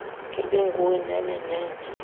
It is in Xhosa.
ibinguwe nhenhe nhenhe